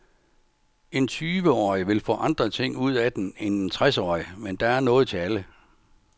En tyveårig vil få andre ting ud af den end en tresårig, men der er noget til alle.